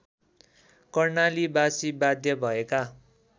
कर्णालीबासी बाध्य भएका